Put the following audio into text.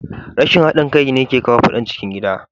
Rashin hadin kai ne yake kawo fadan cikin gida.